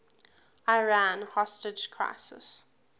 iran hostage crisis